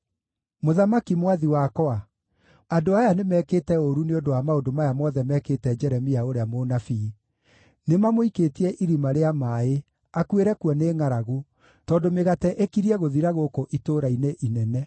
“Mũthamaki mwathi wakwa, andũ aya nĩmekĩte ũũru nĩ ũndũ wa maũndũ maya mothe mekĩte Jeremia ũrĩa mũnabii. Nĩmamũikĩtie irima rĩa maaĩ, akuĩre kuo nĩ ngʼaragu, tondũ mĩgate ĩkirie gũthira gũkũ itũũra-inĩ inene.”